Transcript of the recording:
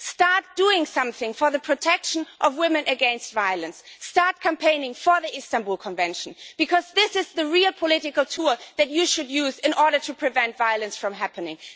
Start doing something for the protection of women against violence, start campaigning for the Istanbul Convention, because this is the real political tool that you should use in order to prevent violence from happening.